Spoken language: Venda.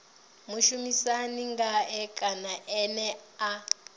mushumisani ngae kana ene a